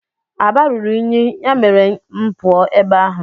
Aba ruru unyi nke mere ma puo ebe ahu.